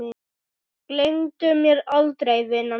Gleymdu mér aldrei vina mín.